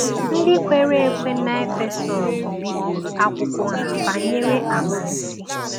Ndị kwere ekwe na Efesọs bibiri akwụkwọ ha banyere amansi.